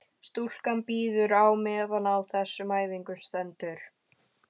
Stúlkan bíður á meðan á þessum æfingum stendur.